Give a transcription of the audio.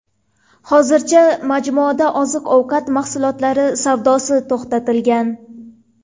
Hozircha majmuada oziq-ovqat mahsulotlari savdosi to‘xtatilgan.